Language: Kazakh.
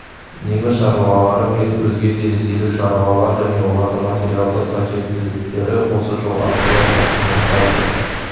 неміс шаруалары мен өзге де ресейлік шарулар және олардың материалдық қажеттіліктері осы жол арқылы тасымалданды